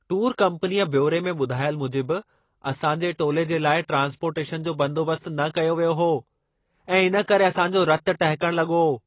Tour कम्पनीअ बयोरे में ॿुधायल मूजिबि असां जे टोले जे लाइ ट्रान्सपोर्टेशनु जो बंदोबस्त न कयो वियो हो ऐं इन करे असांजो रतु टहिकण लॻो।